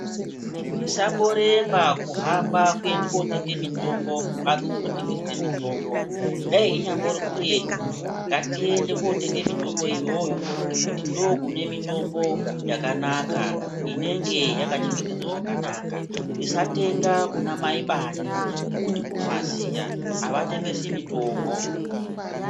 Musamboremba kuhamba kuenda kootenga mitombo kumhatso dzinotengesa mitombo dei inyambori kuretu ngatiende kootenga mitombo iyoyo ngekuti ndookune mitombo yakanaka inenge yakachengetedzwa zvakanaka. Musatenga kuna mai bani ngekuti munovaziya avatengesi mitombo.